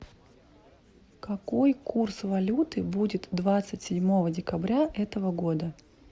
какой курс валюты будет двадцать седьмого декабря этого года